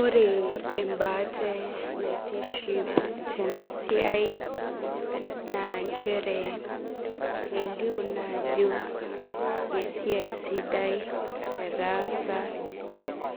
Ore embaate naitiship tenasiai na nchere elio na ajo esiai sidaii etaasa